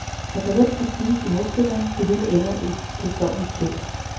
Der går let prestige i modspilleren, det hele ender i kedsommeligt kævl.